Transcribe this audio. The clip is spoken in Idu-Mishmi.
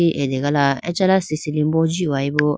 ti ategala acha ma sisili bo ji hoyebo.